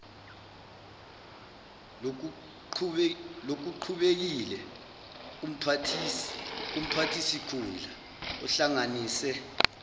lokuqhubekile kumphathisikhundla ohlanganise